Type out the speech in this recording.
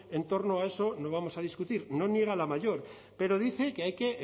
entorno a eso no vamos a discutir no niega la mayor pero dice que hay que